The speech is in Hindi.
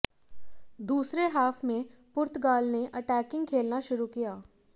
दूसरे हाफ में पुर्तगाल ने अटैकिंग खेलना शुरु किया